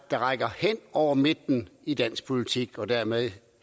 der rækker hen over midten i dansk politik og dermed